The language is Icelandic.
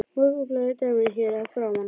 Morgunblaðið í dæminu hér að framan.